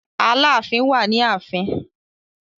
Aláàfin wà ni ààfin.